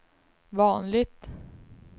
vanligt